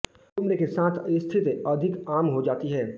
उम्र के साथ स्थिति अधिक आम हो जाती है